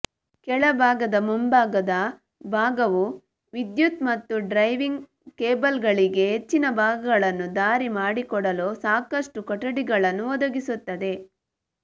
ಕೆಳಭಾಗದ ಮುಂಭಾಗದ ಭಾಗವು ವಿದ್ಯುತ್ ಮತ್ತು ಡ್ರೈವಿಂಗ್ ಕೇಬಲ್ಗಳಿಗೆ ಹೆಚ್ಚಿನ ಭಾಗಗಳನ್ನು ದಾರಿ ಮಾಡಿಕೊಡಲು ಸಾಕಷ್ಟು ಕೊಠಡಿಗಳನ್ನು ಒದಗಿಸುತ್ತದೆ